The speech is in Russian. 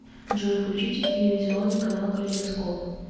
джой включите телевизионный канал калейдоскоп